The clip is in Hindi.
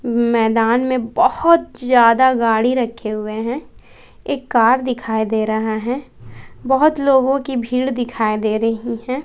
मैदान में बहुत ज्यादा गाड़ी रखे हुए हैं एक कार दिखाई दे रहा है बहुत लोगों की भीड़ दिखाई दे रही हैं।